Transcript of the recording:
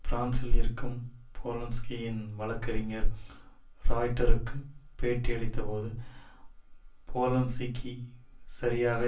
பிரான்சில் இருக்கும் போலன்ஸ்கியின் வழக்கறிஞர் ராய்ட்டருக்கு பேட்டி அளித்தபோது போலன் ஸ்கி சரியாக